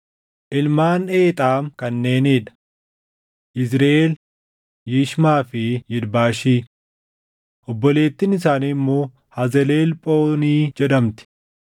Ilmaan Eexaam kanneenii dha: Yizriʼeel, Yishmaa fi Yidbaashi. Obboleettiin isaanii immoo Hazelelphoonii jedhamti.